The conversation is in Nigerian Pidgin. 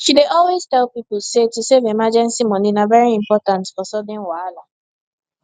she dey always tell people say to save emergency money na very important for sudden wahala